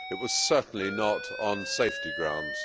it was certainly not on safety grounds.